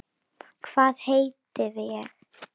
Hvað veit ég?